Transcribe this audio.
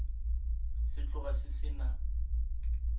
se tloga se se na